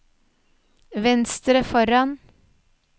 venstre foran